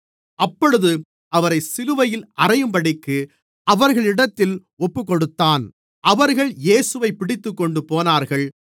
அப்பொழுது அவரை சிலுவையில் அறையும்படிக்கு அவர்களிடத்தில் ஒப்புக்கொடுத்தான் அவர்கள் இயேசுவைப் பிடித்துக்கொண்டு போனார்கள்